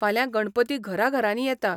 फाल्यां गणपती घरा घरांनी येता.